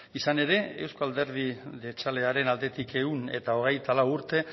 izan ere eusko alderdi jeltzalearen aldetik ehun eta hogeita lau urte